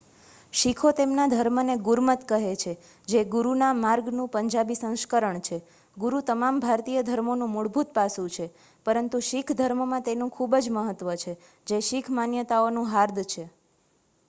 "શીખો તેમના ધર્મને ગુરમત કહે છે જે "ગુરુના માર્ગ""નું પંજાબી સંસ્કરણ છે. ગુરુ તમામ ભારતીય ધર્મોનું મૂળભૂત પાસું છે પરંતુ શીખ ધર્મમાં તેનું ખૂબ મહત્વ છે જે શીખ માન્યતાઓનું હાર્દ છે.